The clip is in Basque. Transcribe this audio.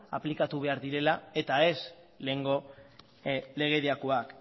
aplikatu behar direla eta ez lehengo legediakoak